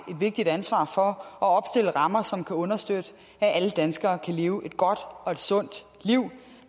vigtigt ansvar for at opstille rammer som kan understøtte at alle danskere kan leve et godt og et sundt liv